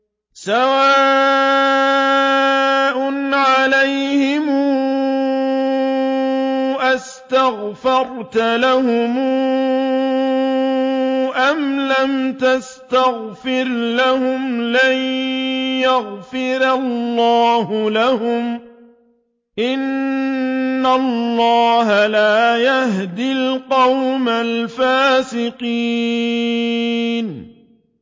سَوَاءٌ عَلَيْهِمْ أَسْتَغْفَرْتَ لَهُمْ أَمْ لَمْ تَسْتَغْفِرْ لَهُمْ لَن يَغْفِرَ اللَّهُ لَهُمْ ۚ إِنَّ اللَّهَ لَا يَهْدِي الْقَوْمَ الْفَاسِقِينَ